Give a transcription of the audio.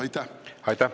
Aitäh!